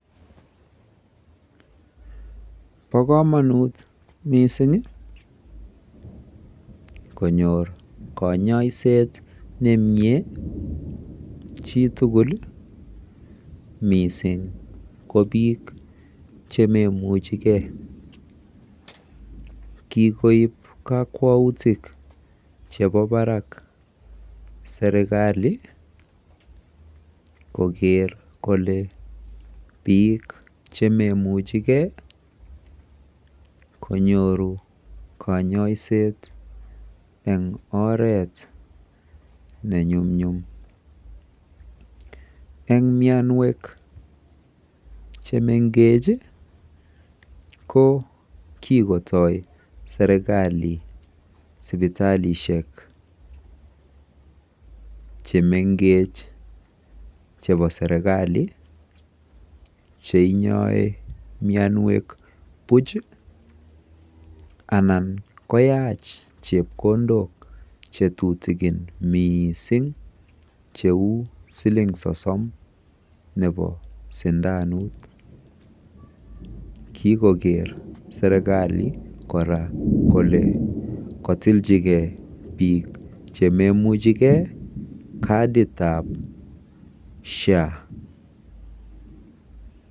Bo kamanut missing ii konyoor kanyaiseet nemie chii tuguul ii missing ii ko biik che maimuchei gei kikoob kakwautiik chebo Barak serikali ii koger kole biik che meimuchi kei ii konyoruu kanyaiseet eng oret ne nyumnyum eng mianweek che mengeech ii ko kikotoi serikali sipitalishek che mengech chebo serikali che inyae mianweek buuch ii anan koyaach chepkondook che tutugin missing che uu siling sosom nebo sindanuut koger serikali kora kole katilchigei biik che maimuchei gei kariit ab [social health authority].